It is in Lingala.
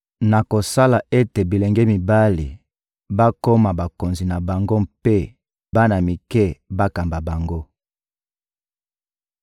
Nakosala ete bilenge mibali bakoma bakonzi na bango mpe bana mike bakamba bango.